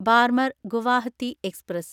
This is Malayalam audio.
ബാർമർ ഗുവാഹത്തി എക്സ്പ്രസ്